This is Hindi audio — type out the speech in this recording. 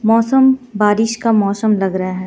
मौसम बारिश का मौसम लग रहा हे.